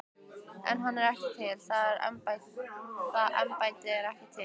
En hann er ekki til, það embætti er ekki til.